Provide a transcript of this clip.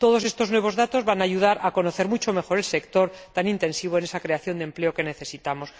Todos estos nuevos datos van a ayudar a conocer mucho mejor el sector tan intensivo en esa creación de empleo que necesitamos.